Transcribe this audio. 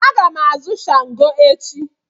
Aga m azụ shango echi.